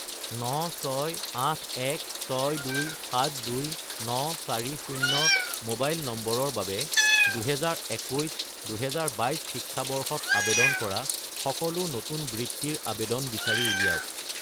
96816272940 mobile নম্বৰৰ বাবে 2021 - 2022 শিক্ষাবৰ্ষত আবেদন কৰা সকলো নতুন বৃত্তিৰ আবেদন বিচাৰি উলিয়াওক